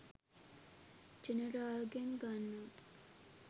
ජෙනරාල්ගෙන් ගන්නවා.